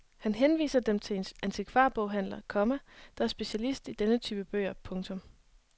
Han henviser dem til en antikvarboghandler, komma der er specialist i denne type bøger. punktum